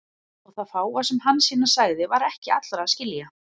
Og það fáa sem Hansína sagði var ekki allra að skilja.